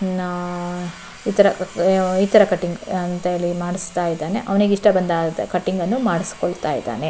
ಇದನ್ನ ಈ ತರ ಕಟಿಂಗ್ ಅಂತ ಹೇಳಿ ಮಾಡಿಸ್ತಾಯಿದ್ದಾನೆ ಅವನಿಗೆ ಇಷ್ಟ ಬಂದ ಕಟಿಂಗ್ ಅನ್ನು ಮಾಡಿಸ್ಕೊಳ್ತಾಯಿದ್ದಾನೆ.